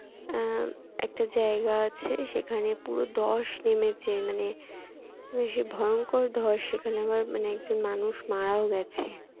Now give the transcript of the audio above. আহ একটা জায়গা আছে সেখানে পুরো ধস নেমেছে মানে সে ভয়ংকর ধস সেখানে আবার একজন মানে একজন মানুষ মারাও গেছে।